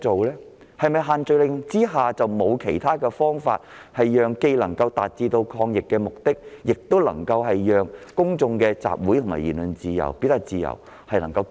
難道在限聚令之下沒有其他方法，既能達到抗疫目的，亦能繼續保障公眾集會和言論自由、表達自由嗎？